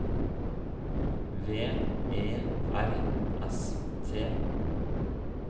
V E R S T